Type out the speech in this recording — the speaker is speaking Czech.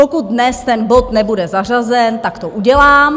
Pokud dnes ten bod nebude zařazen, tak to udělám.